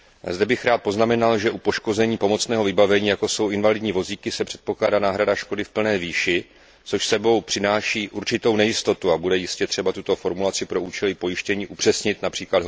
Zde bych rád poznamenal, že u poškození pomocného vybavení, jako jsou invalidní vozíky, se předpokládá náhrada škody v plné výši, což s sebou přináší určitou nejistotu a bude jistě třeba tuto formulaci pro účely pojištění upřesnit, např.